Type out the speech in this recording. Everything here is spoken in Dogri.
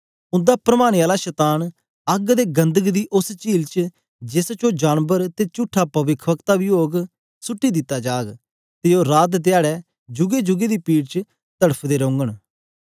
उंदा परमाने आला शतान अग्ग दे गंधक दी उस्स चील च जेस च ओ जानबर ते चुट्ठा पविखवक्ता बी ओग सुट्टी दिता जाग ते ओ रात धयारे जूगे जूगे पीड़ च तड़फदे रोघंन